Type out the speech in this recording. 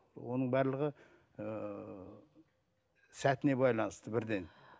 оның барлығы ыыы сәтіне байланысты бірден